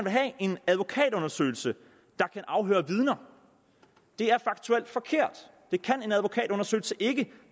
have en advokatundersøgelse der kan afhøre vidner det er faktuelt forkert det kan en advokatundersøgelse ikke